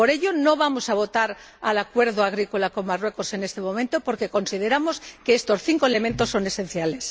Por lo tanto, no vamos a votar a favor del acuerdo agrícola con Marruecos en este momento, porque consideramos que estos cinco elementos son esenciales.